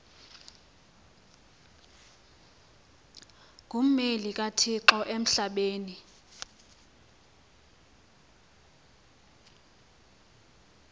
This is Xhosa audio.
ngummeli kathixo emhlabeni